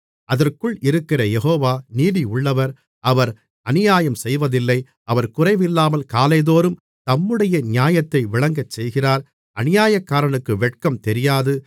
அதற்குள் இருக்கிற யெகோவா நீதியுள்ளவர் அவர் அநியாயம்செய்வதில்லை அவர் குறைவில்லாமல் காலைதோறும் தம்முடைய நியாயத்தை விளங்கச்செய்கிறார் அநியாயக்காரனுக்கு வெட்கம் தெரியாது